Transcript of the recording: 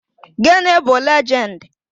Gịnị bụ legend?